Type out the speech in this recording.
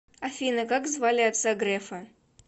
афина как звали отца грефа